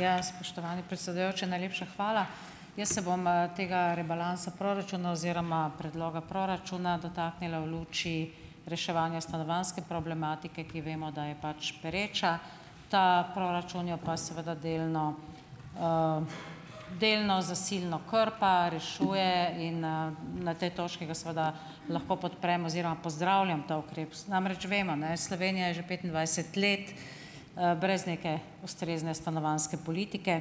Ja, spoštovani predsedujoči, najlepša hvala. Jaz se bom, tega rebalansa proračuna oziroma predloga proračuna dotaknila v luči reševanja stanovanjske problematike, ki vemo, da je pač pereča, ta proračun jo pa seveda delno delno zasilno krpa, rešuje in, na tej točki ga seveda lahko podprem oziroma pozdravljam ta ukrep. Namreč, vemo, Slovenija je že petindvajset let, brez neke ustrezne stanovanjske politike,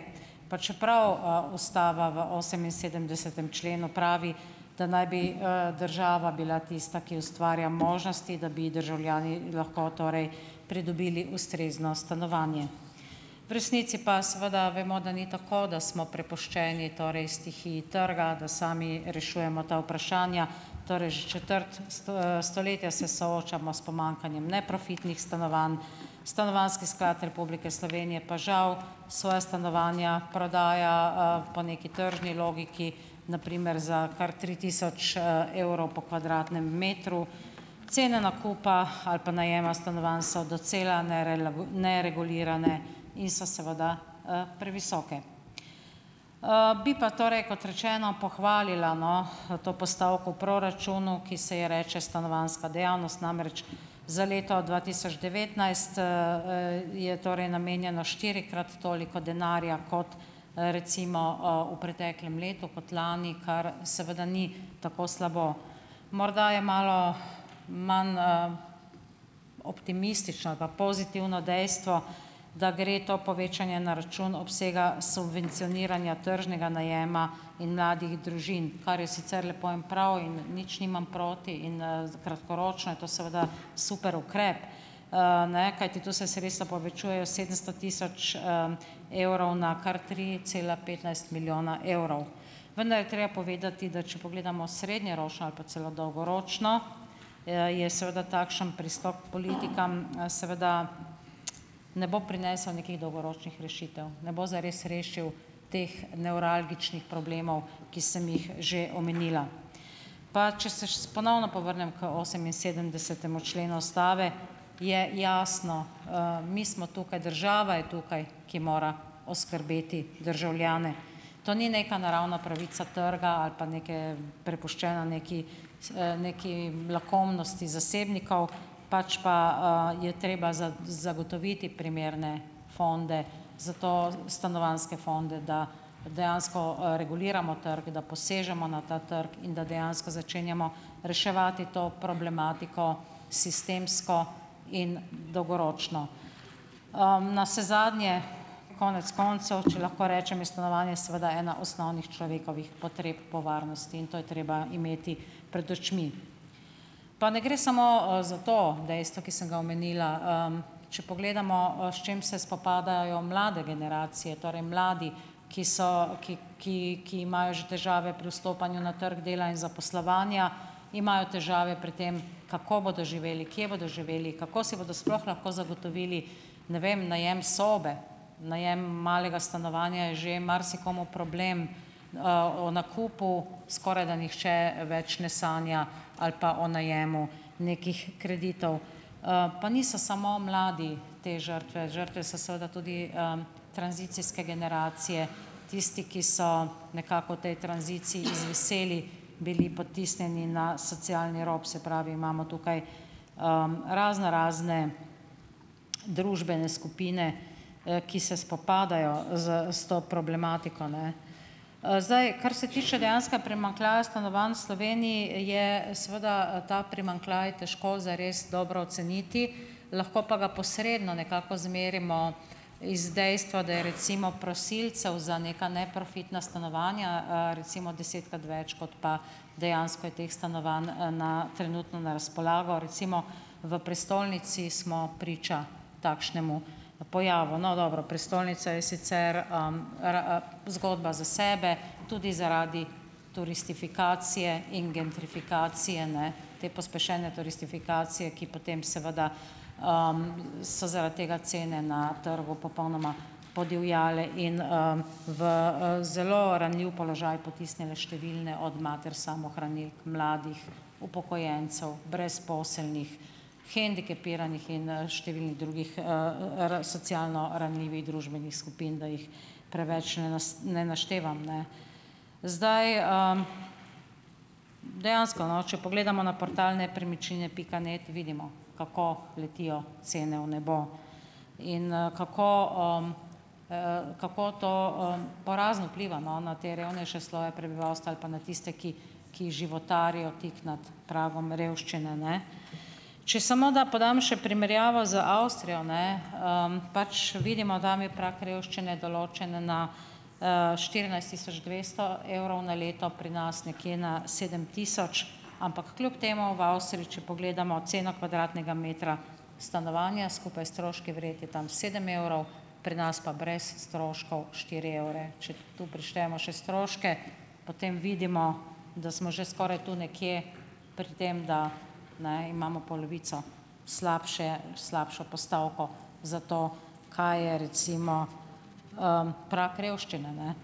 pa čeprav, ustava v oseminsedemdesetem členu pravi, da naj bi, država bila tista, ki ustvarja možnosti, da bi državljani lahko torej pridobili ustrezno stanovanje. V resnici pa seveda vemo, da ni tako, da smo prepuščeni torej stihiji trga, da sami rešujemo ta vprašanja. Torej, že četrt stoletja se soočamo s pomanjkanjem neprofitnih stanovanj, Stanovanjski sklad Republike Slovenije pa žal svoja stanovanja prodaja, po neki tržni logiki, na primer za kar tri tisoč, evrov po kvadratnem metru. Cene nakupa ali pa najema stanovanj so docela neregulirane in so seveda, previsoke. Bi pa, torej kot rečeno, pohvalila, to postavko v proračunu, ki se ji reče Stanovanjska dejavnost. Namreč, za leto dva tisoč devetnajst, je torej namenjeno štirikrat toliko denarja kot, recimo, v preteklem letu, kot lani, kar seveda ni tako slabo. Morda je malo manj, optimistično ali pa pozitivno dejstvo, da gre to povečanje na račun obsega subvencioniranja tržnega najema in mladih družin, kar je sicer lepo in prav, in nič nimam proti in, kratkoročno je to seveda super ukrep. Kajti tu se sredstva povečujejo sedemsto tisoč, evrov na kar tri cela petnajst milijona evrov. Vendar je treba povedati, da če pogledamo srednjeročno ali pa celo dolgoročno, je seveda takšen pristop politikam seveda ne bo prinesel nekih dolgoročnih rešitev, ne bo zares rešilo teh nevralgičnih problemov, ki sem jih že omenila. Pa ponovno povrnem k oseminsedemdesetemu členu ustave, je jasno, mi smo tukaj, država je tukaj, ki mora oskrbeti državljane. To ni neka naravna pravica trga ali pa neke prepuščena nekaj s neki lakomnosti zasebnikov, pač pa, je treba zagotoviti primerne fonde, zato stanovanjske fonde, da dejansko, reguliramo trg, da posežemo na ta trg in da dejansko začenjamo reševati to problematiko sistemsko in dolgoročno. Navsezadnje konec koncev, če lahko rečem, je stanovanje seveda ena osnovnih človekovih potreb po varnosti in to je treba imeti pred očmi. Pa ne gre samo, za to dejstvo, ki sem ga omenila, če pogledamo, s čim se spopadajo mlade generacije, torej mladi, ki so, ki, ki, ki imajo že težave pri vstopanju na trg dela in zaposlovanja, imajo težave pri tem, kako bodo živeli, kje bodo živeli, kako si bodo sploh lahko zagotovili, ne vem, najem sobe. Najem malega stanovanja je že marsikomu problem. O nakupu skorajda nihče več ne sanja ali pa o najemu nekih kreditov. Pa niso samo mladi te žrtve. Žrtve so seveda tudi, tranzicijske generacije, tisti, ki so nekako v tej tranziciji izviseli, bili potisnjeni na socialni rob, se pravi imamo tukaj, raznorazne družbene skupine, ki se spopadajo s s to problematiko, zdaj kar se tiče dejanskega primanjkljaja stanovanj v Slovenij, je seveda ta primanjkljaj težko zares dobro oceniti, lahko pa ga posredno nekako izmerimo iz dejstva, da je recimo prosilcev za neka neprofitna stanovanja, recimo, desetkrat več, kot pa dejansko je teh stanovanj, na trenutno na razpolago. Recimo V prestolnici smo priča takšnemu pojavu. No, dobro, prestolnica je sicer, zgodba za sebe, tudi zaradi turistifikacije in gentrifikacije, te pospešene turistifikacije, ki potem seveda, so zaradi tega cene na trgu popolnoma podivjale in, v, zelo ranljiv položaj potisnile številne od mater samohranilk, mladih, upokojencev, brezposelnih, hendikepiranih in, številnih drugih, socialno ranljivih družbenih skupin, da jih preveč ne ne naštevam, Zdaj, Dejansko, če pogledamo na portal Nepremičnine pika net, vidimo, kako letijo cene v nebo in, kako, kako to, porazno vpliva, na te revnejše sloje prebivalstva ali pa na tiste, ki ki životarijo tik nad pragom revščine, Če samo podam še primerjavo z Avstrijo, pač vidimo, da je prag revščine določen na, štirinajst tisoč dvesto evrov na leto, pri nas nekje na sedem tisoč, ampak kljub temu v Avstriji, če pogledamo ceno kvadratnega metra stanovanja skupaj s stroški vred, je tam sedem evrov, pri nas pa brez stroškov štiri evre. Če tu prištejemo še stroške, potem vidimo, da smo že skoraj tu nekje, pri tem, da, imamo polovico slabše, slabšo postavko za to, kaj je recimo, prag revščine,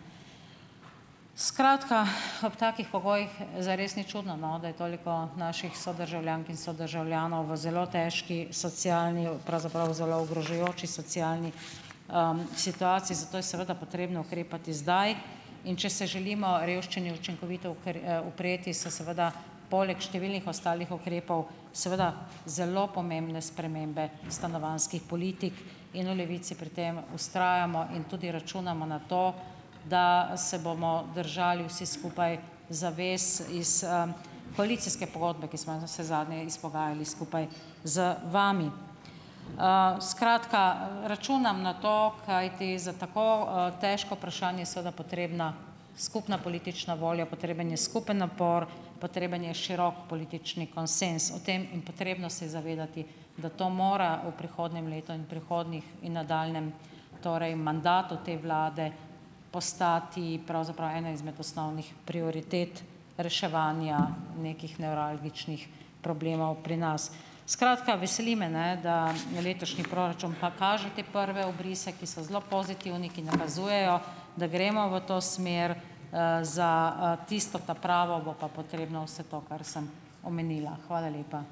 Skratka, ob takih pogojih zares ni čudno, da je toliko naših sodržavljank in sodržavljanov v zelo težki socialni, pravzaprav zelo ogrožajoči socialni, situaciji, zato je seveda potrebno ukrepati zdaj, in če se želimo revščini učinkovito upreti, se seveda poleg številnih ostalih ukrepov seveda zelo pomembne spremembe stanovanjskih politik in v Levici pri tem vztrajamo in tudi računamo na to, da se bomo držali vsi skupaj zavest iz, koalicijske pogodbe, ki smo jo navsezadnje izpogajali skupaj z vami. Skratka, računam na to, kajti za tako, težko vprašanje seveda potrebna skupna politična volja, potreben je skupen napor, potreben je širok politični konsenz o tem in potrebno se je zavedati, da to mora v prihodnjem letu in v prihodnjih in nadaljnjem torej mandatu te vlade postati pravzaprav ena izmed osnovnih prioritet reševanja nekih nevralgičnih problemov pri nas. Skratka, veseli me, da letošnji proračun pa kaže te prve obrise, ki so zelo pozitivni, ki nakazujejo, da gremo v to smer, za, tisto ta pravo bo pa potrebno vse to, kar sem omenila. Hvala lepa.